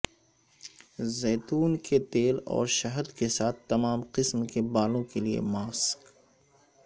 زیتون کے تیل اور شہد کے ساتھ تمام قسم کے بالوں کے لئے ماسک